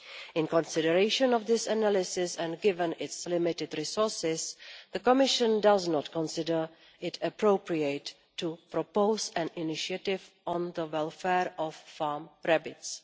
In consideration of this analysis and given its limited resources, the Commission does not consider it appropriate to propose an initiative on the welfare of farm rabbits.